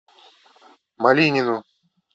малинину